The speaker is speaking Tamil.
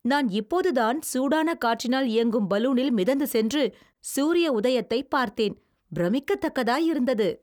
நான் இப்போதுதான் சூடான காற்றினால் இயங்கும் பலூனில் மிதந்து சென்று சூரிய உதயத்தைப் பார்த்தேன். பிரமிக்கத்தக்கதாயிருந்தது.